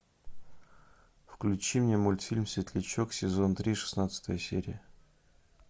включи мне мультфильм светлячок сезон три шестнадцатая серия